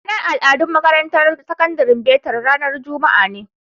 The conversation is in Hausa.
Ranar al'adu a makarantar sakandaren betel ranar Juma'a ne.